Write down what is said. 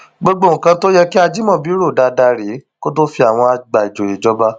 gbogbo nǹkan tó yẹ kí ajimobi rò dáadáa rèé kó tóó fi àwọn àgbà ìjòyè jọba